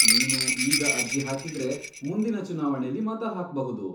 ನೀನು ಈಗ ಅರ್ಜಿ ಹಾಕಿದ್ರೆ, ಮುಂದಿನ ಚುನಾವಣೆಲಿ ಮತ ಹಾಕ್ಬಹುದು.